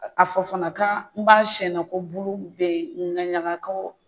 A fɔ fana ka n ba sɛnna ko bulu bɛ n na ko